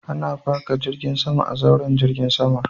Ana faka jiragen sama a zauren jirgin sama.